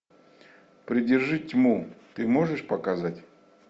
придержи тьму ты можешь показать